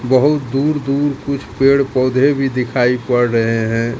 बहुत दूर दूर कुछ पेड़ पौधे भी दिखाई पड़ रहे हैं।